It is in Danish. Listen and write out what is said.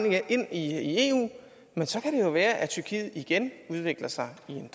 i eu men så kan det jo være at tyrkiet igen udvikler sig i en